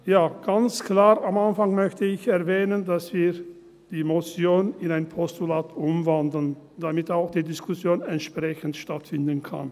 Ja, ganz klar möchte ich am Anfang erwähnen, dass wir die Motion in ein Postulat umwandeln, damit auch die Diskussion entsprechend stattfinden kann.